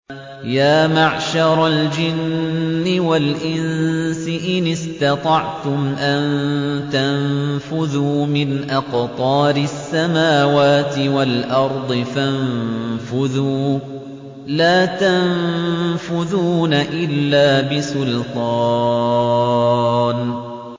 يَا مَعْشَرَ الْجِنِّ وَالْإِنسِ إِنِ اسْتَطَعْتُمْ أَن تَنفُذُوا مِنْ أَقْطَارِ السَّمَاوَاتِ وَالْأَرْضِ فَانفُذُوا ۚ لَا تَنفُذُونَ إِلَّا بِسُلْطَانٍ